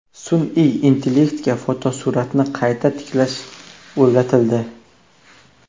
Sun’iy intellektga fotosuratni qayta tiklash o‘rgatildi.